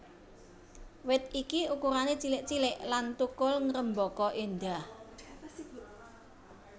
Wit iki ukurané cilik cilik lan thukul ngrêmbaka éndah